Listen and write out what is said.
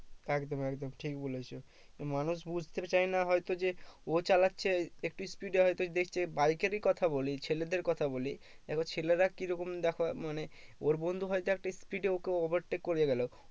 একদম একদম ঠিক বলেছো মানুষ বুঝতে চায়ে না হয়তো যে ও চালাচ্ছে একটু speed এ হয়তো দেখছে bike এরই কথা বলি ছেলেদের কথা বলি এবার ছেলেরা কি রকম দেখো মানে ওর বন্ধু হয়তো একটা speed এ ওকে overtake করে গেলো